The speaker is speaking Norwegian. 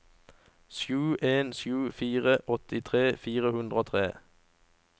sju en sju fire åttitre fire hundre og tre